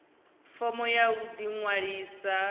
fomo ya u ḓi ṅwalisa